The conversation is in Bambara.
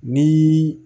Ni